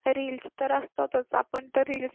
reels तर असतातच आपण तर